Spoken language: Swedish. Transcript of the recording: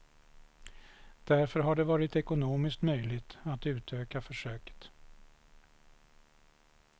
Därför har det varit ekonomiskt möjligt att utöka försöket.